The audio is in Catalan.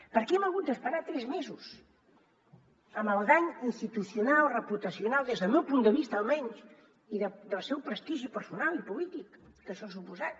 per què hem hagut d’esperar tres mesos amb el dany institucional reputacional des del meu punt de vista almenys i del seu prestigi personal i polític que això ha suposat